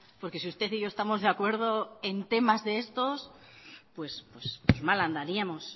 porque si usted y yo estamos de acuerdo en temas de estos pues mal andaríamos